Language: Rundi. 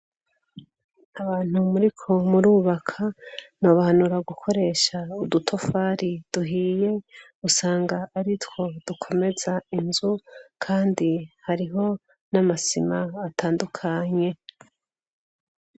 Abantu muri ko murubaka, no bahanura gukoresha udutafari duhiye usanga aritwo dukomeza inzu, kandi hariho n'amasima atandukanye.